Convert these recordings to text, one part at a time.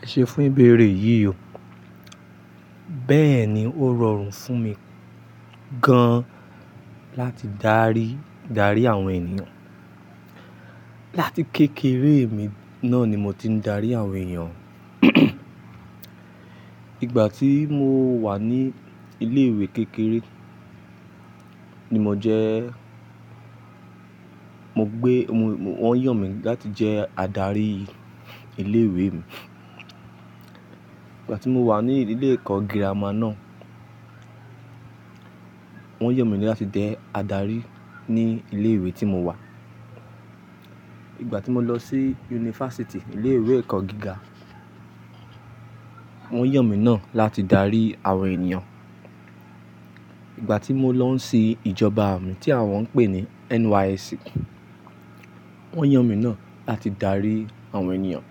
Ẹ ṣe fún ìbéèrè yìí o, bẹ́ẹ̀ni ó rọrùn fún mi gan láti darí, darí àwọn ènìyàn. Láti kékeré mi náà ni mo ti ń darí àwọn ènìyàn. Ìgbà tí mo wà ní ilé ìwé kékeré ni mo jẹ́, mo gbé, wọ́n yàn mí láti jẹ́ adarí ilé ìwé mi. Ìgbà tí mo wà ní ilé ẹ̀kọ́ girama náà, wọ́n yàn mí láti jẹ́ adarí ní ilé ìwé tí mo wà. Ìgbà tí mo lọ sí yunifásítì, ilé ìwé ẹ̀kọ́ gíga, wọ́n yàn mi náà láti darí àwọn ènìyàn. Ìgbà tí mo lọ sí ìjọba àmì tí àwọn pè ní NYSC, wọ́n yàn mi náà láti darí àwọn ènìyàn.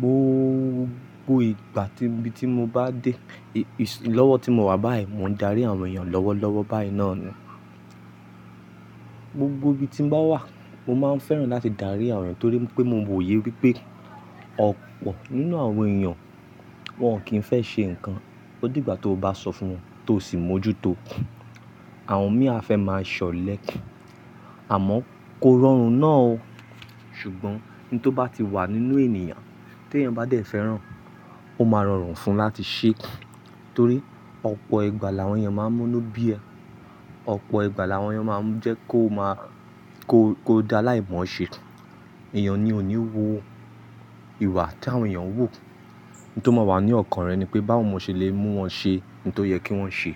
GBogbo ìgbà ti ibi tí mo bá dé, lọ́wọ́ tí mo wà báyìí, mò ń darí àwọn ènìyàn lọ́wọ́lọ́wọ́ báyìí náà ni. Gbogbo ibi tí mo bá wà, mo máa ń fẹ́ràn láti darí àwọn ènìyàn torí pé mo mọ òye wípé ọ̀pọ̀ nínú àwọn ènìyàn wọ́n kì í fẹ́ ṣe nǹkan, o dìgbà tí o bá sọ fún wọn tó sì mójúto. Àwọn mìíràn fẹ́ máa ṣọlẹ, àmọ́ kò rọrùn náà o. Ṣùgbọ́n ohun tó bá ti wà nínú ènìyàn tí èèyàn bá dẹ̀ fẹ́ràn, ó máa rọrùn fún un láti ṣe ẹ́ torí ọ̀pọ̀ ìgbà làwọn èèyàn máa ń múnu bí ẹ. Ọ̀pọ̀ ìgbà làwọn èèyàn máa ń jẹ́ kó máa, kó, kó di aláìmọ̀ ṣe. Èèyàn ni ò ní wo ìwà tí àwọn èèyàn ń wò. Ohun tó máa wà ní ọ̀kan rẹ̀ ni pé báwo mo ṣe le mú wọn ṣe ohun tó yẹ kí wọ́n ṣe.